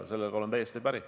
Sellega ma olen täiesti päri.